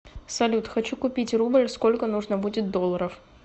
салют хочу купить рубль сколько нужно будет долларов